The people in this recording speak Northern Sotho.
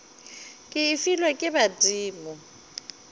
ke e filwe ke badimo